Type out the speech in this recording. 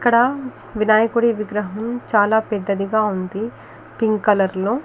ఇక్కడ వినాయకుడి విగ్రహం చాల పెద్దదిగా ఉంది పింక్ కలర్ లో .